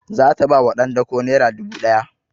Za ta ba wa ɗan dako naira dubu ɗaya